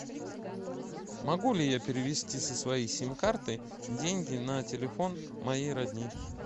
могу ли я перевести со своей сим карты деньги на телефон моей родни